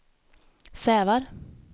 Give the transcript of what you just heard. Sävar